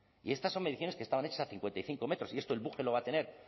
y estas son menciones que estaban hechas a cincuenta y cinco metros y esto el book que lo va a tener